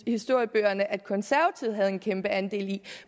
i historiebøgerne at konservative havde en kæmpe andel i